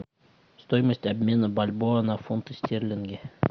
стоимость обмена бальбоа на фунты стерлинги